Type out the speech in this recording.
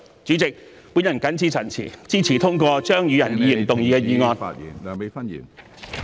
主席，我謹此陳辭......支持通過張宇人議員動議的議案。